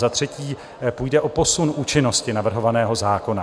Za třetí půjde o posun účinnosti navrhovaného zákona.